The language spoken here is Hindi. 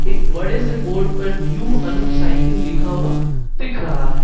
बड़े से बोर्ड पर न्यू अनूप साइकिल लिखा हुआ दिख रहा है।